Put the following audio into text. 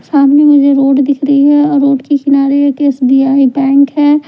सामने मुझे रोड दिख रही है और रोड के किनारे H_ D_ F_ C bank है।